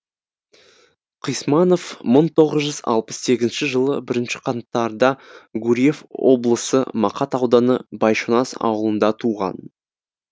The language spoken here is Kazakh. қисманов мың тоғыз жүз алпыс сегізінші жылы бірінші қаңтарда гурьев облысы мақат ауданы байшонас ауылында туған